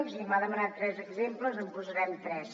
i m’ha demanat tres exemples en posarem tres